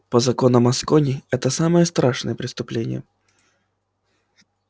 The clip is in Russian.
по законам аскони это самое страшное преступление